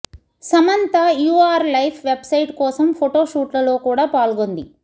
Samantha UR life website కోసం photo షూట్లలో కూడా పాల్గొంది